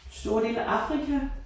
Store dele af Afrika